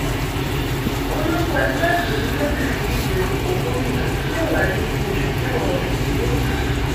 orúkọ ẹgbẹ́ yìí ni yóò sì fi díje dupò gómìnà tí yóò wáyé nínú oṣù kẹwàá ọdún yìí londo